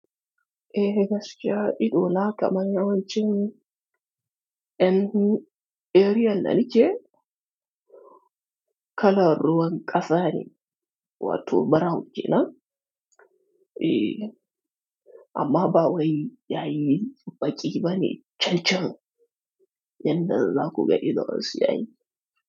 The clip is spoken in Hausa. Eeh, gaskiya, idona kamar yawancin en area da nike kalan ruwan ƙasa ne, wato brown kenan. Eeh, amma ba wai yayi baƙi bane cancan, yanda zaku ga ido wasu yayi.